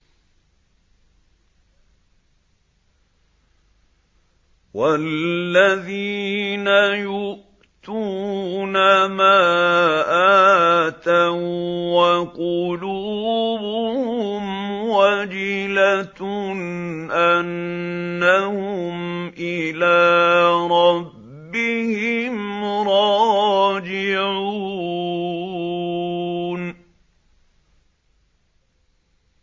وَالَّذِينَ يُؤْتُونَ مَا آتَوا وَّقُلُوبُهُمْ وَجِلَةٌ أَنَّهُمْ إِلَىٰ رَبِّهِمْ رَاجِعُونَ